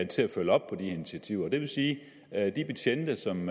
til at følge op på de initiativer og det vil sige at de betjente som